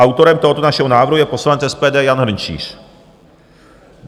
Autorem tohoto našeho návrhu je poslanec SPD Jan Hrnčíř.